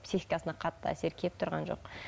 психикасына қатты әсер келіп тұрған жоқ